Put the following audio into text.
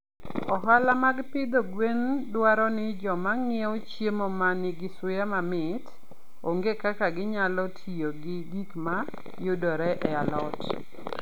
Ohala mag pidho gwen dwaro ni joma ng'iewo chiemo ma nigi suya mamit ong'e kaka ginyalo tiyo gi gik ma yudore e alot.